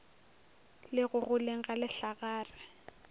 le go goleng ga lehlagare